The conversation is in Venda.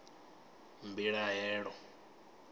mbilahelo